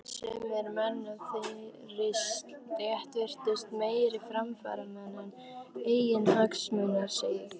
Sumir menn af þeirri stétt virtust meiri framfaramenn en eiginhagsmunaseggir.